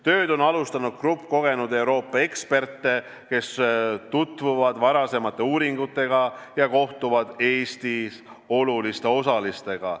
Tööd on alustanud grupp kogenud Euroopa eksperte, kes tutvuvad varasemate uuringutega ja kohtuvad Eestis oluliste osalistega.